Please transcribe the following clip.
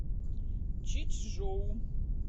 чичжоу